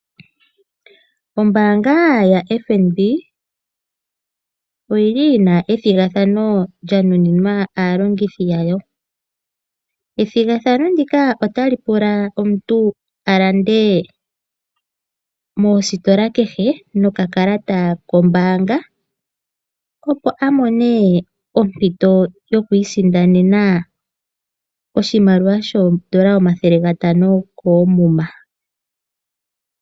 Ombaanga yaFNB oyili yina ethigathano lya nuninwa aalongithi yayo, ethigathano ndika otali omuntu alande moositola kehe, noka kalata kombaanga opo amone ompito yokwiisindanena oshimaliwa shoodola omathele gatano koomuma.